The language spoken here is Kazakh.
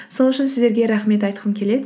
сол үшін сіздерге рахмет айтқым келеді